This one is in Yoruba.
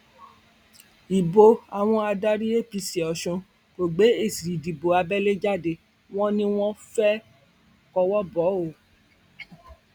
ibo àwọn adarí apc ọsùn kò gbé èsì ìdìbò abẹlé jáde wọn ni wọn fẹẹ kọwọ bò ó